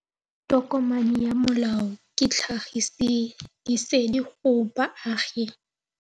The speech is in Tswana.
Tokomane ya molao ke tlhagisi lesedi go baagi.